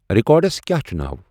records کیٛاہ چھُ ناو